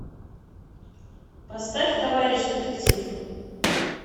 поставь товарищ детектив